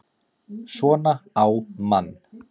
SVONA Á MANN!